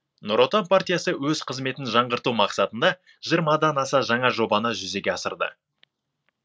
нұр отан партиясы өз қызметін жаңғырту мақсатында жиырмадан аса жаңа жобаны жүзеге асырды